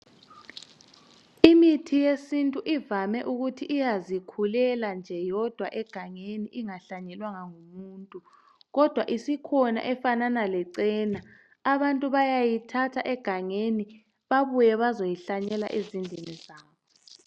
Imithi yesintu ivame ukuthi iyazikhulela nje yodwa egangeni ingahlanyelwanga ngumuntu. Kodwa isikhona efanana lecena. Abantu bayayithatha egangeni babuye bazoyihlanyela ezindlini zabo.